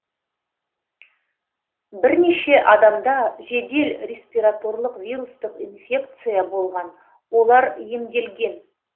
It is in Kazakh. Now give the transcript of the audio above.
бірнеше адамда жедел респираторлық вирустық инфекция болған олар емделген